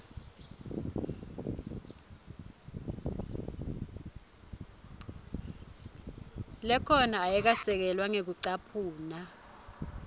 lekhona ayikasekelwa ngekucaphuna